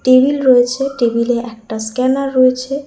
Table রয়েছে table -এ একটা স্ক্যানার রয়েছে।